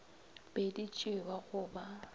be di tšewa go ba